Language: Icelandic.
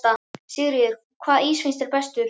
Sigríður: Hvaða ís finnst þér bestur?